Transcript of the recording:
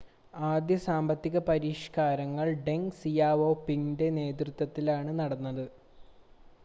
ആദ്യ സാമ്പത്തിക പരിഷ്‌കാരങ്ങൾ ഡെങ് സിയാവോപിങിൻ്റെ നേതൃത്വത്തിലാണ് നടത്തപ്പെട്ടത്